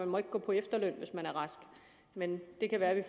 må gå på efterløn når man er rask men det kan være det